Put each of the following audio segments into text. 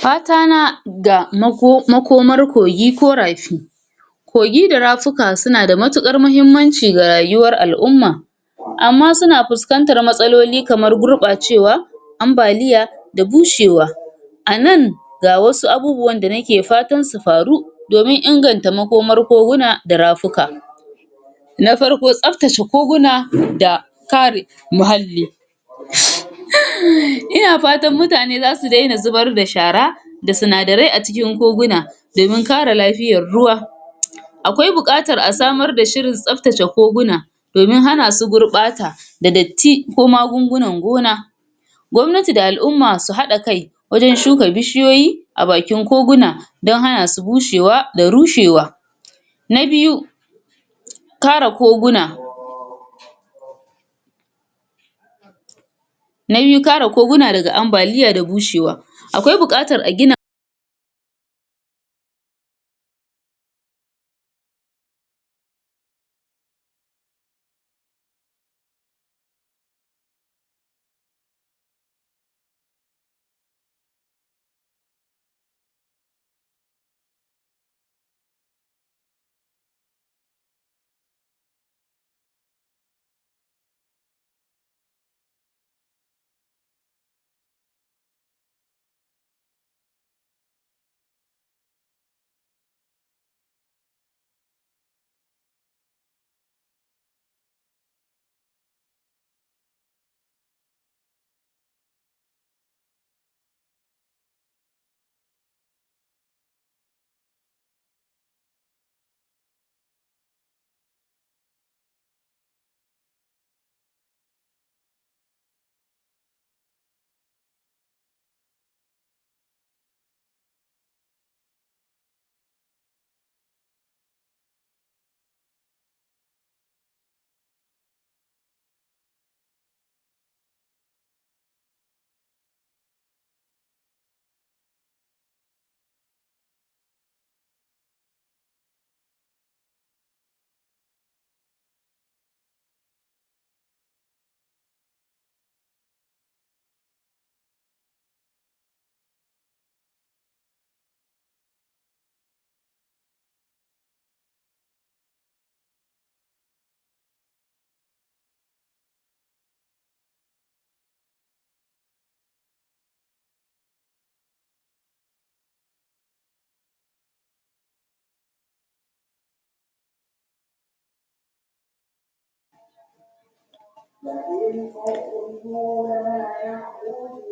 Fatana ga makomar kogi ko rafi. Kogi da rafuka suna da matukar mahimmanci ga rayuwar alʼumma amma suna fuskantar matsaloli kamar gurɓacewa, ambaliya da bushewa. A nan ga wasu abubuwan da nake fatan su faru domin inganta makomar koguna da rafuka. Na farko, tsaftace koguna da kare muhalli. [Huum] Ina fatan mutane za su daina zubar da shara da sinadarai a cikin koguna domin kare lafiyar ruwa. Akwai buƙatar a samar da shirin tsaftace koguna domin hana su gurbata da datti ko magungunan gona. Gwamnati da alʼumma su haɗa kai wajen shuka bishiyoyi a bakin koguna don hana su bushewa da rushewa. Na biyu, kare koguna. Na biyu kare koguna da ambaliya daga bushewa. Akwai buƙatar a gina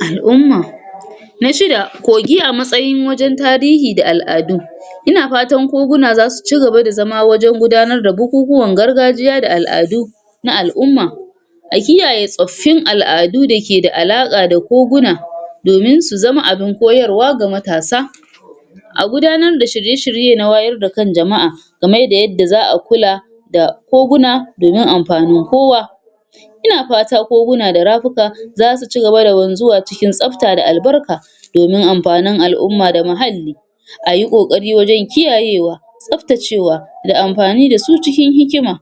alʼumma. Na shida, kogi a matsayin wajen tarihi da alʼadu. Ina fatan koguna za su ci gaba da zama wajen gudanar da bukukkuwan gargajiya da alʼadu na alʼumma. A kiyaye tsoffin alʼadun da ke da alaƙa da koguna domin su zama abin koyarwa ga matasa. A gudanar da shirye shirye na wayar da kan jamaʼa kaman yanda za a kula da koguna domin amfanin kowa. Ina fata koguna da rafuka za su ci gaba da wanzuwa cikin tsafta da albarka domin amfanin alʼumma da muhalli. A yi ƙoƙari wajen kiyayewa, tsaftacewa da amfani da su cikin hikima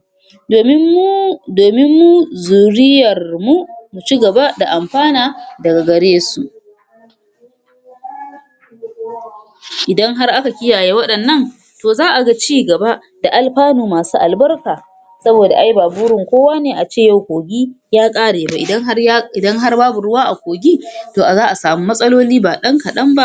domin mu domin mu zuriyarmu mu ci gaba da amfana daga garesu. Idan har aka kiyaye waɗannan to za a ga ci gaba da alfanu masu albarka saboda ai ba burin kowa ne a ce yau kogi ya ƙare ba. Idan har ya idan babu ruwa a kogi to a za a samu matsaloli ba ɗan kaɗan ba.